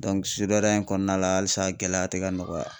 Dɔnku sudɛriya in kɔnɔna la alisa gɛlɛya te ka nɔgɔya